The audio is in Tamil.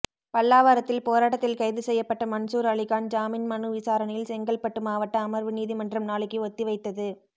பல்லாவரத்தில் போராட்டத்தில் கைது செய்யப்பட்ட மன்சூர் அலிகான் ஜாமின் மனு விசாரணையில் செங்கல்பட்டு மாவட்ட அமர்வு நீதிமன்றம் நாளைக்கு ஒத்திவைத்தது